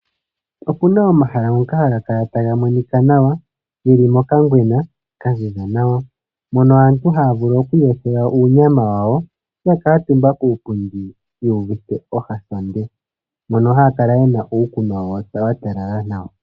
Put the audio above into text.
Opuna omahala ngoka haga kala taga monika nawa, geli mokangwena ka ziza nawa, mono aantu haya vulu oku iyothela uunyama wawo ya kuutumba kuupundi yu uvite ohahande, mono haya kala yena uukunwa wawo wa talala nawa.